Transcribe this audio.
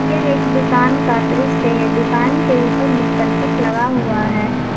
यह एक दुकान का दृश्य है दुकान के ऊपर में करकट लगा हुआ है।